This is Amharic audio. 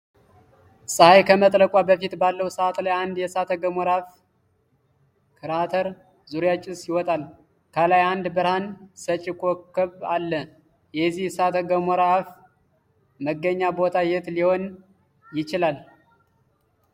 ፀሐይ ከመጥለቋ በፊት ባለው ሰዓት ላይ አንድ የእሳተ ገሞራ አፍ (ክራተር) ዙሪያ ጭስ ይወጣል። ከላይ አንድ ብርሃን ሰጪ ኮከብ አለ። የዚህ የእሳተ ገሞራ አፍ መገኛ ቦታ የት ሊሆን ይችላል?